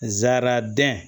Zaraden